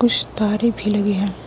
कुछ तारे भी लगे हैं।